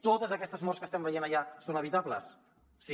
totes aquestes morts que estem veient allà són evitables sí